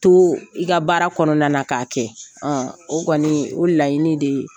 To i ka baara kɔnɔna na k'a kɛ o kɔni o laɲini de ye,